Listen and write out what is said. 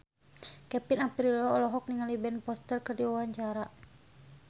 Kevin Aprilio olohok ningali Ben Foster keur diwawancara